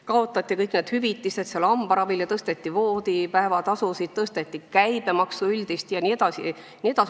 Kaotati näiteks kõik hambaravihüvitised ja tõsteti voodipäevatasusid, samuti tõsteti üldist käibemaksu jne.